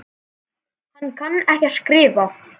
Hann kann ekki að skrifa.